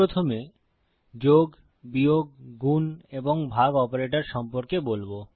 আমি প্রথমে যোগ বিয়োগ গুন এবং ভাগ অপারেটর সম্পর্কে বলবো